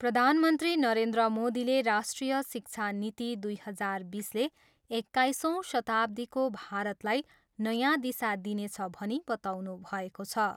प्रधानमन्त्री नरेन्द्र मोदीले राष्ट्रिय शिक्षा नीति दुई हजार बिसले एक्काइसौँ शताब्दीको भारतलाई नयाँ दिशा दिनेछ भनी बताउनुभएको छ।